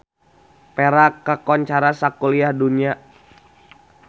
Perak kakoncara sakuliah dunya